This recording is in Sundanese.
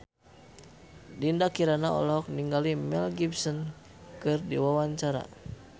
Dinda Kirana olohok ningali Mel Gibson keur diwawancara